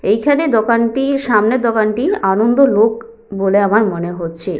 এইখানে দোকানটি সামনে দোকানটি আনন্দলোক বলে আমার মনে হচ্ছে।